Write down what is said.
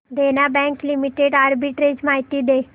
देना Bank Limited arbitrage माहिती दे